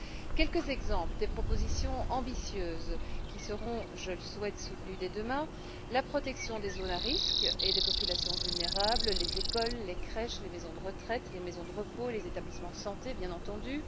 Quelques exemples des propositions ambitieuses qui seront, je le souhaite, soutenues dès demain la protection des zones à risques et des populations vulnérables, à savoir les écoles, les crèches, les maisons de retraite, les maisons de repos, les établissements de santé, bien entendu.